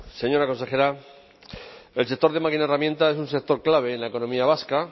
señora consejera el sector de máquina herramienta es un sector clave en la economía vasca